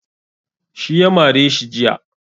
Shi ya mare shi jiya.